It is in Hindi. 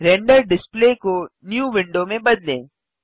रेंडर डिस्प्ले को न्यू विंडो में बदलें